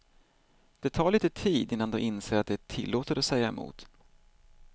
Det tar litet tid innan de inser att det är tillåtet att säga emot.